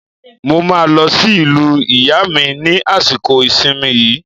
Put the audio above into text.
Mo máa lọ sí ìlú ìyá mi ní àsìkò ìsìnmi yìí.